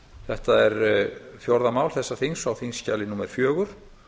þetta er fjórða mál þessa þings á þingskjali númer fjögur